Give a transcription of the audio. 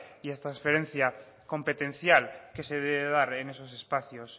y transferencia competencial que se debe de dar en esos espacios